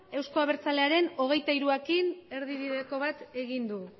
euzko abertzalearen hogeita hiruarekin erdibideko bat egin du